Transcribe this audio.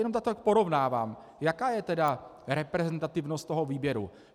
Jen tak porovnávám, jaká je tedy reprezentativnost toho výběru.